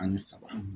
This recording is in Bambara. Ani saba